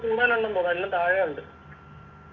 കൂടുതലുണ്ടെന്ന് തോന്ന് എല്ലാം താഴെയുണ്ട്